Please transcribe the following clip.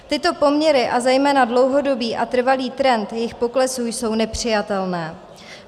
Tyto poměry a zejména dlouhodobý a trvalý trend jejich poklesu jsou nepřijatelné.